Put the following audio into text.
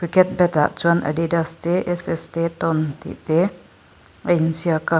ah chuan addidas te s s te ton tih te a inziak a.